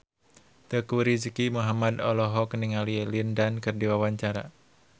Teuku Rizky Muhammad olohok ningali Lin Dan keur diwawancara